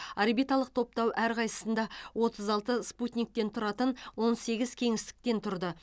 орбиталық топтау әрқайсысында отыз алты спутниктен тұратын он сегіз кеңістіктен тұрды